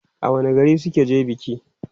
a wani gari suka je biki?